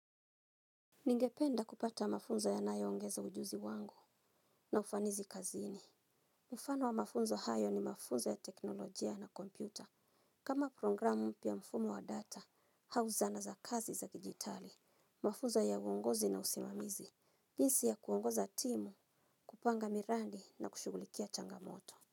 Ningependa kupata mafunzo yanayo ongeza ujuzi wangu na ufanisi kazini. Mfano wa mafunzo hayo ni mafunzo ya teknolojia na kompyuta. Kama programu mpya mfumo wa data au zana za kazi za kidijitali, mafunzo ya uongozi na usimamizi. Jinsi ya kuongoza timu, kupanga miradi na kushughulikia changamoto.